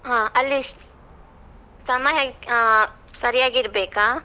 ಹಾ ಅಲ್ಲಿ ಸಮಯ ಆಹ್ ಸರಿಯಾಗಿರ್ಬೇಕಾ?